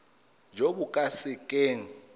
jo bo ka se keng